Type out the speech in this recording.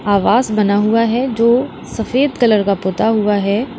आवास बना हुआ है जो सफेद कलर का पोता हुआ है।